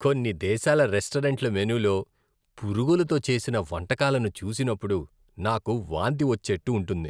కొన్ని దేశాల రెస్టారెంట్ల మెనూలో పురుగులతో చేసిన వంటకాలను చూసినప్పుడు, నాకు వాంతి వచ్చేట్టు ఉంటుంది.